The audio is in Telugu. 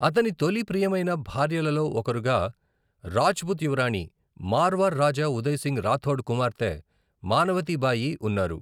అతని తొలి ప్రియమైన భార్యలలో ఒకరుగా రాజ్పుత్ యువరాణి, మార్వార్ రాజా ఉదయ్ సింగ్ రాథోడ్ కుమార్తె మానవతీ బాయి ఉన్నారు.